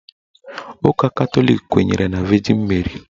Ụka Katọlik kwenyere na Vejin Meri